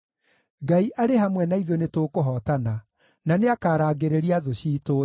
Ngai arĩ hamwe na ithuĩ nĩtũkũhootana, na nĩakarangĩrĩria thũ ciitũ thĩ.